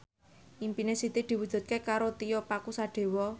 impine Siti diwujudke karo Tio Pakusadewo